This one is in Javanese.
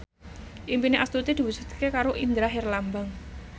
impine Astuti diwujudke karo Indra Herlambang